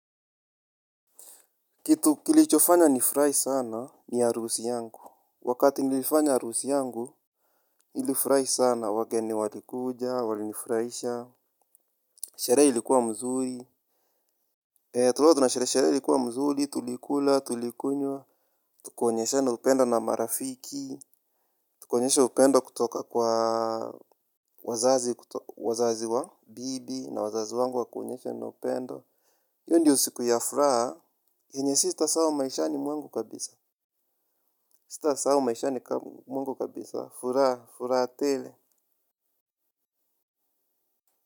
Kitu kilichofanya nifurahi sana ni harusi yangu. Wakati nilifanya harusi yangu. Nilifurahi sana wageni walikuja walinifurahisha. Sherehe ilikuwa mzuri, tulikuwa tunasherehe, sherehe ilikuwa mzuri tulikula tulikunywa. Tukaonyeshana upendo na marafiki. Tukaonyesha upendo kutoka kwa wazazi wa bibi na wazazi wangu wakuonyeshana upendo. Hiyo ndio siku ya furaha yenye sitasahau maishani mwangu kabisa, sitasahau maishani mwangu kabisa, furaha, furaha tele.